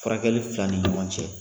Furakɛli fila ni ɲɔgɔn cɛ.